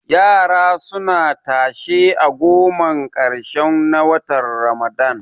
Yara suna tashe a gomar ƙarshe na watan azumin ramadan